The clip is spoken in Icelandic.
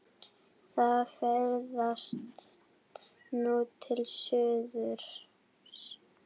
Það ferðast nú til suðurs.